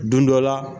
Don dɔ la